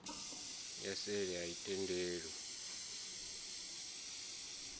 ya seli a i tendelwi